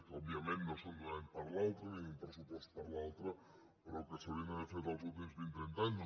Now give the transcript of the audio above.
òbviament no són d’un any per l’altre ni un pressupost per l’altre però que s’haurien hagut d’haver fet els últims vint o trenta anys